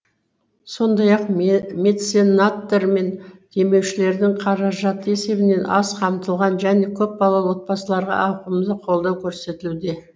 сондай ақ меценаттар мен демеушілердің қаражаты есебінен аз қамтылған және көпбалалы отбасыларға ауқымды қолдау көрсетілуде